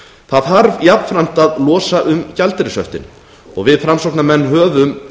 það þarf jafnframt að losa um gjaldeyrishöftin og við framsóknarmenn höfum